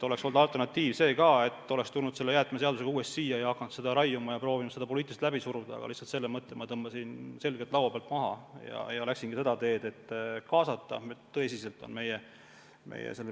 Alternatiiv olnuks, et me oleks tulnud jäätmeseadusega uuesti siia ja proovinud seda poliitiliselt läbi suruda, aga selle mõtte ma tõmbasin laua pealt maha ja läksin kaasamise teed.